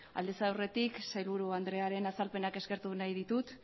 aldez aurretik sailburu andrearen azalpenak eskertu nahi ditut